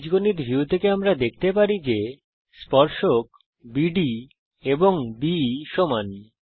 বীজগণিত ভিউ থেকে আমরা পেতে পারি যে স্পর্শক বিডি এবংBE সমান